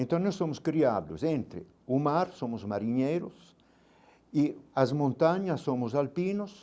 Então nós somos criados entre o mar, somos marinheiros, e as montanhas somos alpinos,